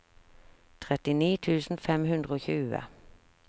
trettini tusen fem hundre og tjue